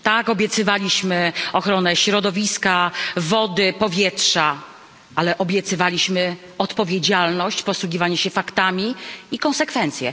Tak, obiecywaliśmy ochronę środowiska, wody, powietrza, ale obiecywaliśmy odpowiedzialność, posługiwanie się faktami i konsekwencję.